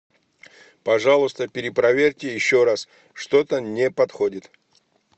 пожалуйста перепроверьте еще раз что то не подходит